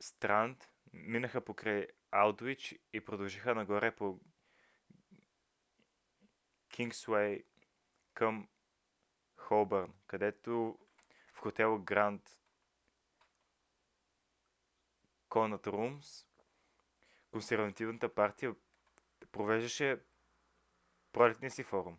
странд минаха покрай алдуич и продължиха нагоре по кингсуей към холбърн където в хотел гранд конът румс консервативната партия провеждаше пролетния си форум